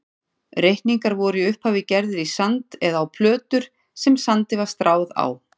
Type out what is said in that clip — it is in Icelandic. Reikningar voru í upphafi gerðir í sand eða á plötur sem sandi var stráð á.